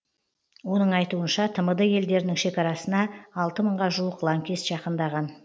оның айтуынша тмд елдерінің шекарасына алты мыңға жуық лаңкес жақындаған